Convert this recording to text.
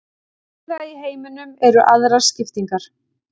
Víða í heiminum eru aðrar skiptingar.